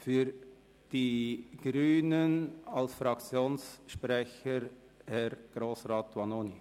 Für die Grünen als Fraktionssprecher Grossrat Vanoni.